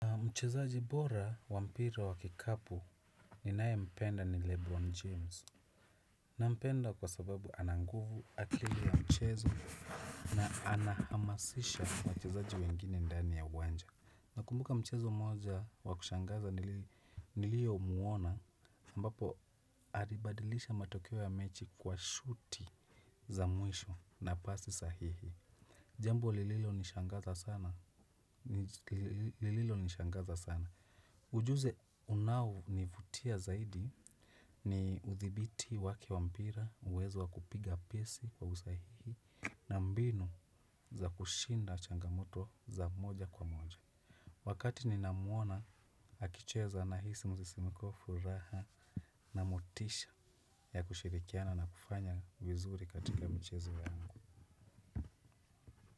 Mchezaji bora wampira wa kikapu ninayempenda ni Lebron James. Na mpenda kwa sababu ananguvu ata ile ya mchezo na anahamasisha wachezaji wengine ndani ya uwanja. Na kumbuka mchezo moja wakushangaza nilio muona ambapo aribadilisha matokyo ya mechi kwa shooti za mwisho na basi sahihi. Jembo lililo nishangaza sana. Lililo nishangaza sana. Ujuzi unaonivutia zaidi ni uthibiti wake wampira uwezo wa kupiga pesi kwa usahihi na mbinu za kushinda changamoto za moja kwa moja. Wakati ni namuona akicheza na hisi msisimko wa furaha na motisha ya kushirikiana na kufanya vizuri katika mchezo ya angu.